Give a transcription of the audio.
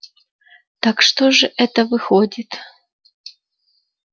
так что же это выходит